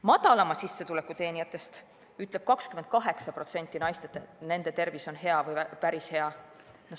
Madalamat sissetulekut teenivatest naistest ütleb 28%, et nende tervis on hea või päris hea.